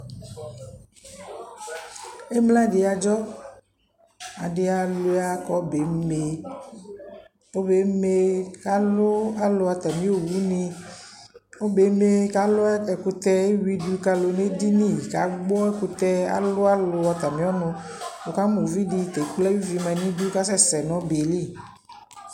Emla dɩ adzɔ Adɩ alua k'ɔbɛ eme, k'ɔbɛ eme k'alʋ alʋ atamɩ owunɩ, ɔbɛ eme k'alʋ ɛkʋtɛ, eyui du k'alʋ n'edini, k'agbɔ ɛkutɛ, alʋ alʋ aatamɩ ɔnʋ Wʋ kamʋ uvidi ya ekple ayʋvi ma n'idu kasɛsɛ n'ɔbɛ yɛ li